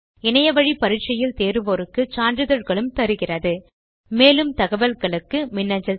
இணையத்தில் பரிட்சை எழுதி தேர்வோருக்கு சான்றிதழ்களும் தருகிறது மேலும் அதிக தகவல்களுக்கு மின்னஞ்சல் செய்யவும்